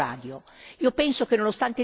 Il primo è lo spettro radio.